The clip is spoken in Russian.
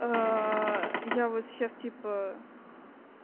а я вот сейчас типа